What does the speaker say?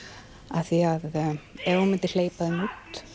af því að ef hún myndi hleypa þeim út